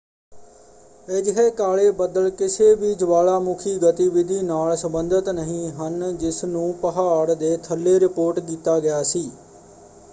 ਅਜਿਹੇ ਕਾਲੇ ਬੱਦਲ ਕਿਸੇ ਵੀ ਜਵਾਲਾਮੁੱਖੀ ਗਤੀਵਿਧੀ ਨਾਲ ਸੰਬੰਧਿਤ ਨਹੀਂ ਹਨ ਜਿਸਨੂੰ ਪਹਾੜ ਦੇ ਥੱਲੇ ਰਿਪੋਰਟ ਕੀਤਾ ਗਿਆ ਸੀ।